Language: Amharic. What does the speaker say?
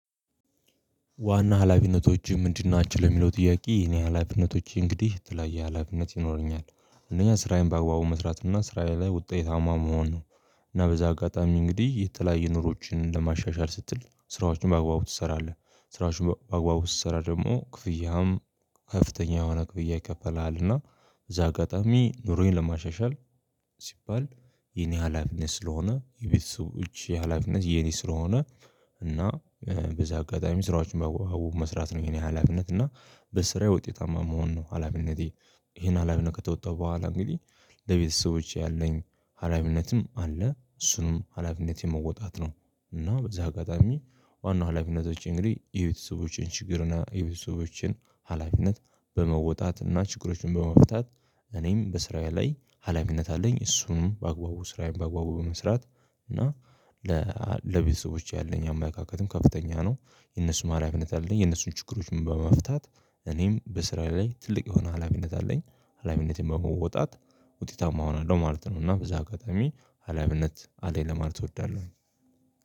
ዋናው ሀላፊነቶችህ ምንድን ናቸው? ለሚለው ጥያቄ የኔ ሀላፊነቶቼ እንግዲህ የተለያየ ሀላፊነት ይኖረኛል አንደኛ ስራዬን በአግባቡ መስራት እና ስራዬ ላይ ውጤታማ መሆን ነው። እና በዚህ አጋጣሚ እንግዲህ የተለያየ ኑሮችን ለማሻሻል ስትል ስራዎችን በአግባቡ ትሰራለህ ስራዎችን በአግባቡ ስትሰራ ደግሞ ክፍያውም ከፍተኛ የሆነ ክፍያ ይከፈልሀልና። በዚህ አጋጣሚ ኑሮዬን ለማሻሻል ሲባል የኔ ሀላፊነት ስለሆነ የቤተሰቦቼ ሀላፊነት የኔ ስለሆነ። እና በዚህ አጋጣሚ ስራዎችን በአግባቡ መስራት ነው የኔ ሀላፊነት እና በስራዬ ውጤታማ መሆን ነው ሀላፊነቴ። ይሄን ሀላፊነት ከተወጣው በኋላ እንግዲህ ለቤተሰቦቼ ያለኝ ሀላፊነትም አለ እሱንም ሀላፊነት የመወጣት ነው። እና በዚህ አጋጣሚ ዋና ሀላፊነቶቼ እንግዲህ የቤተሰቦቼን ችግር እና የቤተሰቦችን ሀላፊነት በመወጣትና ችግሮችን በመፍታት እኔም በስራዬ ላይ ሀላፊነት አለኝ። እሱንም በአግባቡ ስራዬን በአግባቡ በመስራት እና ለ ለቤተሰቦቼ ያለኝ አመለካከትም ከፍተኛ ነው የነሱም ሀላፊነት አለኝ። የነሱን ችግሮች በመፍታት እኔም በስራ ላይ ትልቅ የሆነ ሀላፊነት አለኝ። ሀላፊነቴን በመወጣት ውጤታማ እሆናለሁ ማለት ነው ማለት ነው እና በዚህ አጋጣሚ ሀላፊነት አለኝ ለማለት እወዳለሁ